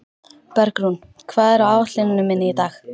Bergrún, hvað er á áætluninni minni í dag?